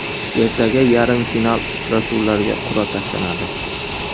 Ertaga yarim final uchrashuvlariga qur’a tashlanadi.